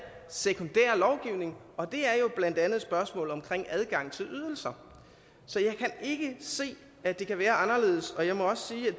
sekundær lovgivning og det er jo blandt andet spørgsmål om adgang til ydelser så jeg kan ikke se at det kan være anderledes og jeg må også